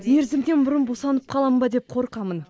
мерзімімнен бұрын босанып қаламын ба деп қорқамын